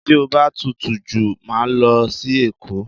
Tí o bá tutù jù, màá lọ sí Èkó.